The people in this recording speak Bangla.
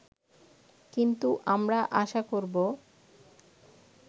কিন্তু আমরা আশা করব